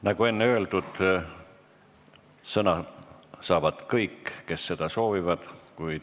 Nagu enne öeldud, sõna saavad kõik, kes seda soovivad.